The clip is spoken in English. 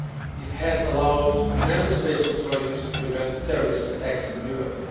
It has allowed Member States' authorities to prevent terrorist attacks in Europe.